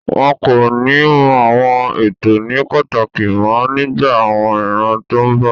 Wọn kò ní mú àwọn ètò ní pàtàkì mọ́ nígbà àwọn ìran tó n bọ̀